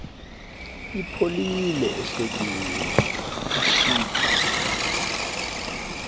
ipholile ehlotyeni kutshiphu